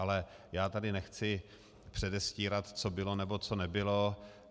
Ale já tady nechci předestírat, co bylo, nebo co nebylo.